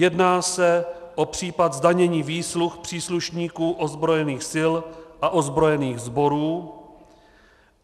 Jedná se o případ zdanění výsluh příslušníků ozbrojených sil a ozbrojených sborů.